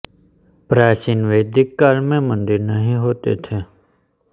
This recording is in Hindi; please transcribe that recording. प्राचीन वैदिक काल में मन्दिर नहीं होते थे